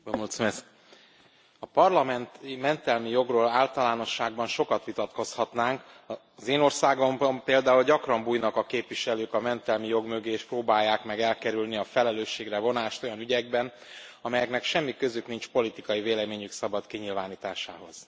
Elnök Úr! A parlamenti mentelmi jogról általánosságban sokat vitatkozhatnánk, az én országomban például gyakran bújnak a képviselők a mentelmi jog mögé és próbálják meg elkerülni a felelősségre vonást olyan ügyekben, amelyeknek semmi közük nincs politikai véleményük szabad kinyilvánításához.